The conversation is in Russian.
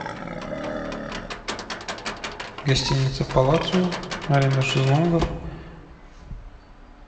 гостиница палацио аренда шезлонгов